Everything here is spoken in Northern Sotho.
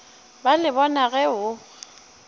ba le bona ge o